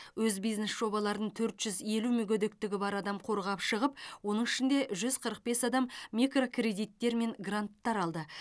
өз бизнес жобаларын төрт жүз елу мүгедектігі бар адам қорғап шығып оның ішінде жүз қырық бес адам микрокредиттер мен гранттар алды